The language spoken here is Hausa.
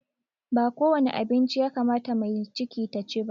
Ba kowane abinci ya kamata mace mai ciki ta ci ba